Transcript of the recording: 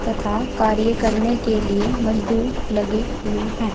तथा कार्य करने के लिए मजदूर लगे हुए हैं।